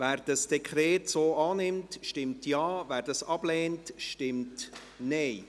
Wer das Dekret so annimmt, stimmt Ja, wer es ablehnt, stimmt Nein.